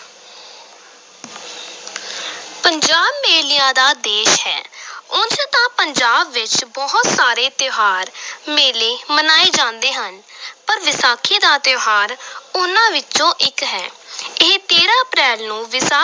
ਪੰਜਾਬ ਮੇਲਿਆਂ ਦਾ ਦੇਸ਼ ਹੈ ਉਂਝ ਤਾਂ ਪੰਜਾਬ ਵਿਚ ਬਹੁਤ ਸਾਰੇ ਤਿਉਹਾਰ ਮੇਲੇ ਮਨਾਏ ਜਾਂਦੇ ਹਨ ਪਰ ਵਿਸਾਖੀ ਦਾ ਤਿਉਹਾਰ ਉਨ੍ਹਾਂ ਵਿਚੋਂ ਇਕ ਹੈ ਇਹ ਤੇਰਾਂ ਅਪ੍ਰੈਲ ਨੂੰ ਵਿਸਾ